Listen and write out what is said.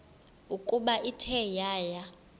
ukuba ithe yaya